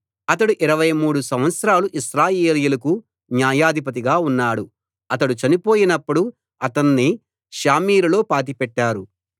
అతడు ఇరవైమూడు సంవత్సరాలు ఇశ్రాయేలీయులకు న్యాయాధిపతిగా ఉన్నాడు అతడు చనిపోయినప్పుడు అతణ్ణి షామీరులో పాతిపెట్టారు